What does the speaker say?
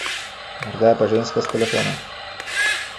Morda je pa ženska s telefona.